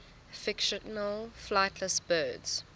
fictional flightless birds